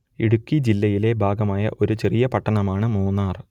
ഇടുക്കി ജില്ലയുടെ ഭാഗമായ ഒരു ചെറിയ പട്ടണമാണ് മൂന്നാർ